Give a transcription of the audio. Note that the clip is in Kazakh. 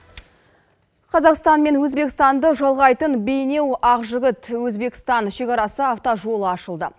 қазақстан мен өзбекстанды жалғайтын бейнеу ақжігіт өзбекстан шекарасы автожолы ашылды